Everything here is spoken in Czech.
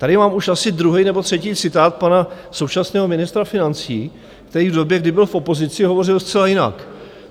Tady mám už asi druhý nebo třetí citát pana současného ministra financí, který v době, kdy byl v opozici, hovořil zcela jinak.